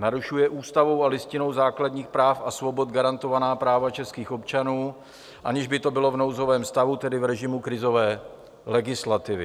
Narušuje ústavou a Listinou základních práv a svobod garantovaná práva českých občanů, aniž by to bylo v nouzovém stavu, tedy v režimu krizové legislativy.